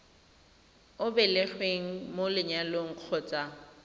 o belegweng mo lenyalong kgotsa